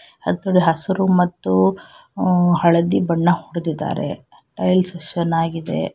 ಹಸಿರು ಹಸಿರು ಮತ್ತು ಹಳದಿ ಬಣ್ಣ ಹೊಡೆದಿದ್ದಾರೆ ರೈಲ್ಸ್ ಚೆನ್ನಾಗಿದೆ.